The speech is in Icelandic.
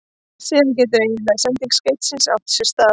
Síðan getur eiginleg sending skeytisins átt sér stað.